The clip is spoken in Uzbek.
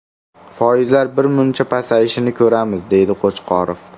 Foizlar birmuncha pasayishini ko‘ramiz”, deydi Qo‘chqorov.